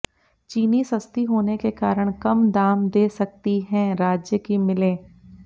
चीनी सस्ती होने के कारण कम दाम दे सकती हैं राज्य की मिलें